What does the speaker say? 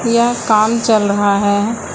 यह काम चल रहा है।